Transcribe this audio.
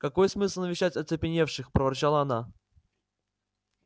какой смысл навещать оцепеневших проворчала она